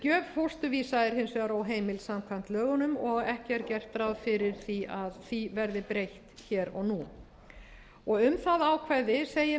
gjöf fósturvísa er hins vegar óheimil samkvæmt lögunum og ekki er gert ráð fyrir því að því verði breytt hér og án um það ákvæði segir meðal